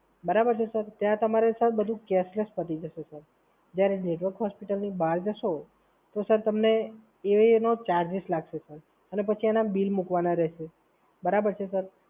બરાબર છે, સર? ત્યાં તમારે બધુ કેશલેસ પતિ જશે સર. જ્યારે તમે બેશક હોસ્પિટલની બહાર જશો તો સર તમને એ એનો ચાર્જ લાગશે અને પછી એના બિલ મૂકવાના રહેશે. બરાબર છે સર?